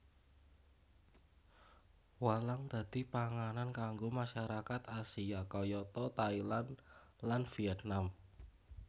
Walang dadi panganan kanggo masyarakat Asia kayata Thailand lan Vietnam